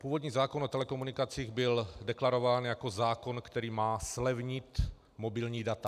Původní zákon o telekomunikacích byl deklarován jako zákon, který má zlevnit mobilní data.